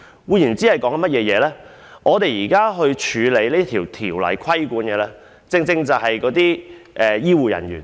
換言之，我們現時審議的《條例草案》所規管的正正是醫護人員。